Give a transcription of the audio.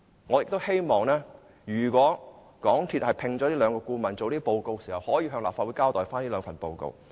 我希望如果港鐵公司會聘請顧問，會向立法會交代這兩份報告。